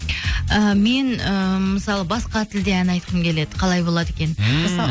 і мен ііі мысалы басқа тілде ән айтқым келеді қалай болады екен ммм